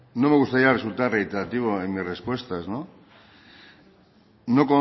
no me gustaría resultar reiterativo en mis respuestas no